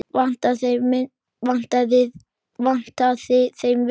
Vantaði þeim vinnu?